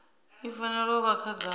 i fanela u vha khagala